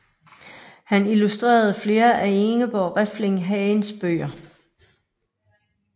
Han illustrerede flere af Ingeborg Refling Hagens bøger